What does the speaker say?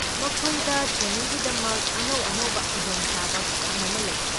ꯃꯈꯣꯏꯗ ꯇ꯭ꯔꯦꯅꯤꯡꯒꯤꯗꯃꯛ ꯑꯅꯧ ꯑꯅꯧꯕ ꯈꯨꯗꯣꯡ ꯆꯥꯕ ꯃꯌꯥꯝ ꯑꯃ ꯂꯩ꯫